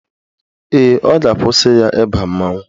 Ee, ọ ga-akwụsị ya ịba mmanwụ